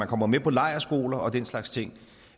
kommer med på lejrskoler og den slags ting